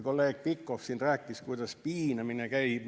Kolleeg Pikhof rääkis siin, kuidas piinamine käib.